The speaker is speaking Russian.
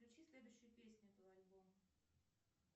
включи следующую песню этого альбома